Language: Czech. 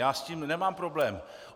Já s tím nemám problém.